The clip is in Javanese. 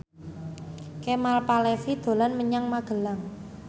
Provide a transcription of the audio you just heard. Kemal Palevi dolan menyang Magelang